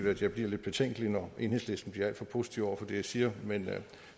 at jeg bliver lidt betænkelig når enhedslisten bliver alt for positiv over for det jeg siger men